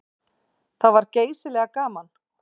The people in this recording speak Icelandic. Það var geysilega gaman.